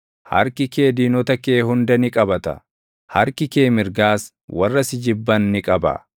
Harki kee diinota kee hunda ni qabata; harki kee mirgaas warra si jibban ni qaba.